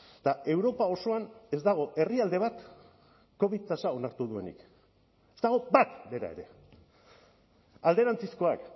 eta europa osoan ez dago herrialde bat covid tasa onartu duenik ez dago bat bera ere alderantzizkoak